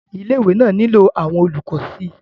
ilé ìwé náà nílò àwọn olùkọ́ sí i